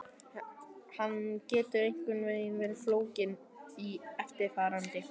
Hann getur einkum verið fólginn í eftirfarandi